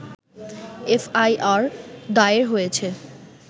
FIR দায়ের হয়েছে